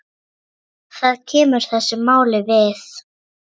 Það kemur þessu máli við.